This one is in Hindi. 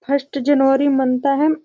फर्स्ट जनवरी मनता है।